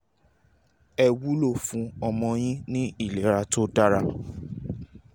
è wúlò fún ọmọ yín ní ìlera tó dára :-)